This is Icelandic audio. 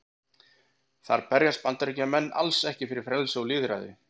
Þar berjast Bandaríkjamenn alls ekki fyrir frelsi og lýðræði.